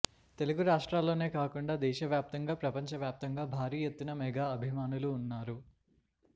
తెలుగు రాష్ట్రాల్లోనే కాకుండా దేశ వ్యాప్తంగా ప్రపంచ వ్యాప్తంగా భారీ ఎత్తున మెగా అభిమానులు ఉన్నారు